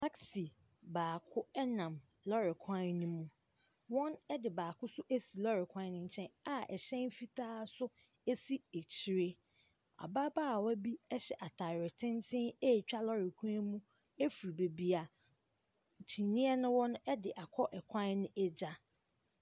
Taxi baako nam lɔɔre kwan ne mu, wɔde baako nso asi lɔɔre kwan ne nkyɛn a hyɛn fitaa nso si akyire. Ababaawa bi hyɛ ataare tenten ɛretwa lɔɔre kwan ne mu ɛfiri beebi a kyineɛ no wɔ no akɔ kwan no agya.